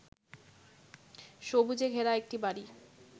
সবুজে ঘেরা একটি বাড়ি